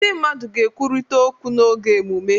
Ndị mmadụ ga-ekwurịta okwu n'oge emume.